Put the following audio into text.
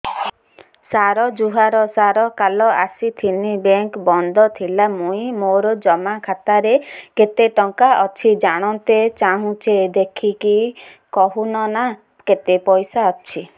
ସାର ଜୁହାର ସାର କାଲ ଆସିଥିନି ବେଙ୍କ ବନ୍ଦ ଥିଲା ମୁଇଁ ମୋର ଜମା ଖାତାରେ କେତେ ଟଙ୍କା ଅଛି ଜାଣତେ ଚାହୁଁଛେ ଦେଖିକି କହୁନ ନା କେତ ପଇସା ଅଛି